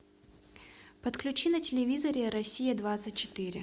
подключи на телевизоре россия двадцать четыре